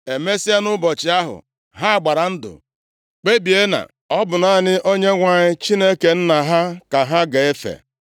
Emesịa, nʼụbọchị ahụ, ha gbara ndụ, kpebie na ọ bụ naanị Onyenwe anyị Chineke nna ha ka ha ga-efe.